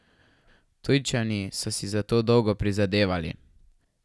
Ptujčani so si za to dolgo prizadevali.